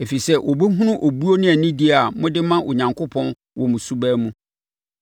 ɛfiri sɛ wɔbɛhunu obuo ne anidie a mode ma Onyankopɔn wɔ mo suban mu.